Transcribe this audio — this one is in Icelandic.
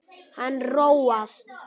Hann róast.